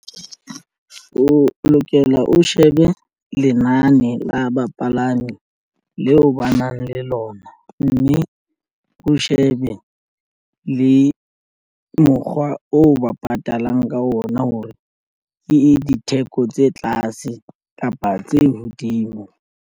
O lokela o shebe lenane la bapalami leo ba nang le lona mme o shebe le mokgwa o ba patalang ka ona hore ke ditheko tse tlase kapa tse hodimo.